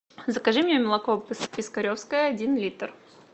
закажи мне молоко пискаревское один литр